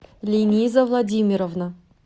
лениза владимировна